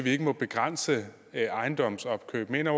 ikke må begrænse ejendomsopkøb mener